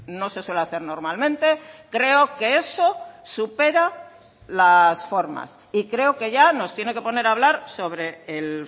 no se suele hacer normalmente creo que eso supera las formas y creo que ya nos tiene que poner a hablar sobre el